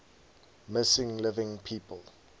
missing living people